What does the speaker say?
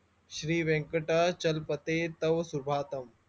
श्री व्यंकटचलपते तवसुभातम